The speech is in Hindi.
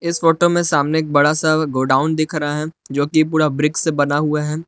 इस फोटो में सामने बड़ा सा गोडाउन दिख रहा है जोकि पूरा ब्रिक्स से बना हुआ है।